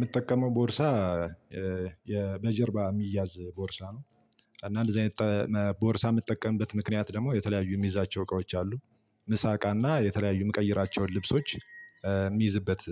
ምጠቀመው ቦርሳ በጀርባ ሚያዝ ቦርሳ ነው። እና እንደዚህ አይነት ቦርሳ ምጠቀምበት ምክንያት ደግሞ የተለያዩ ምይዛቸው እቃዎች አሉ። ምሳ እቃና የተለያዩ የምቀይራቸውን ልብሶች የምይዝበት